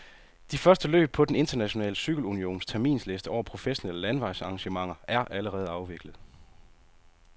De første løb på den internationale cykelunions terminsliste over professionelle landevejsarrangementer er allerede afviklet.